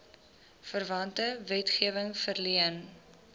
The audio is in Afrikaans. verwante wetgewing verleen